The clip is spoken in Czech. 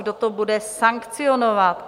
Kdo to bude sankcionovat?